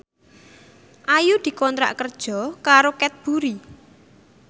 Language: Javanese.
Ayu dikontrak kerja karo Cadbury